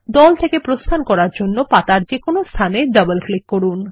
দল থেকে প্রস্থান করার জন্য পাতার যেকোনো স্থানে ডবল ক্লিক করুন